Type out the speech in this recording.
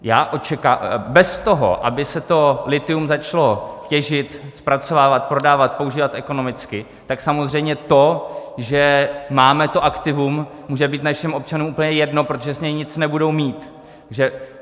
Bez toho, aby se to lithium začalo těžit, zpracovávat, prodávat, používat ekonomicky, tak samozřejmě to, že máme to aktivum, může být našim občanům úplně jedno, protože z něj nic nebudou mít.